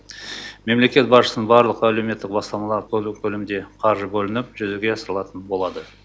мемлекет басшысының барлық әлеуметтік бастамалары толық көлемде қаржы бөлініп жүзеге асырылатын болады